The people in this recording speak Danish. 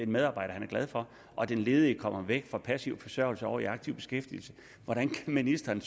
medarbejder han er glad for og den ledige kommer væk fra passiv forsørgelse over i aktiv beskæftigelse hvordan kan ministeren